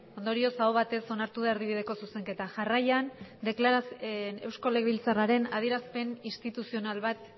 ondorioz aho batez onartu da erdibideko zuzenketa jarraian eusko legebiltzarraren adierazpen instituzional bat